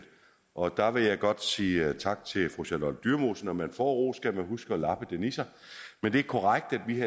og der vil jeg godt sige tak til fru charlotte dyremose når man får ros skal man huske at labbe den i sig det er korrekt at vi